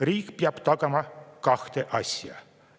Riik peab tagama kaks asja.